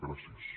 gràcies